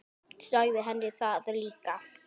Sagði henni það líka.